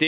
det